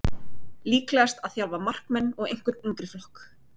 Líklegast að þjálfa markmenn og einhvern yngri flokk.